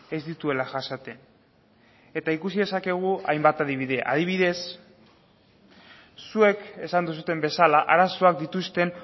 ez dituela jasaten eta ikusi dezakegu hainbat adibide adibidez zuek esan duzuen bezala arazoak dituzten